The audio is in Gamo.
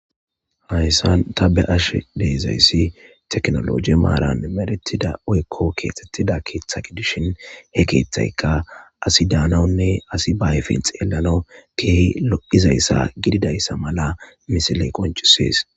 Haysan ta beyashe dizaysi tekinoloje maran medhetida woykon kexetida ketha gidishin hekethayka asi danawunne asiy ba ayifen xellanaw kehi lo'izaysa gididaysa mala misiley qoncises.